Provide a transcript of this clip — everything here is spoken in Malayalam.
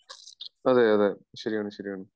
അതെയതെ ശെരിയാണ് ശെരിയാണ്